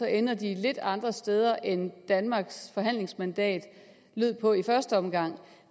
ender de lidt andre steder end danmarks forhandlingsmandat lød på i første omgang